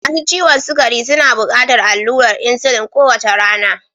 Masu ciwon sukari suna buƙatar allurar insulin kowace rana.